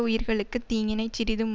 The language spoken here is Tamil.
உயிர்களுக்கு தீங்கினைச் சிறிதும்